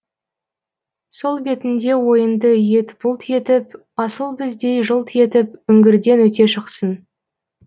сол бетінде ойынды еті бұлт етіп асыл біздей жылт етіп үңгірден өте шықсын